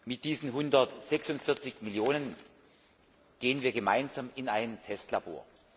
Mit diesen 146 Millionen gehen wir gemeinsam in ein Testlabor.